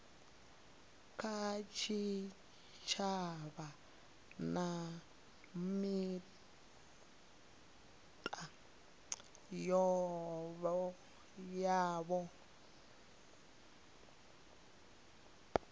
kha tshitshavha na mita yavho